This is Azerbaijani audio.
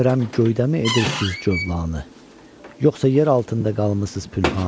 Bilmirəm göydəmi edirsiz cölanı, yoxsa yer altında qalmısız pünhanı.